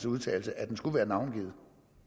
udtalelse at den skulle være navngivet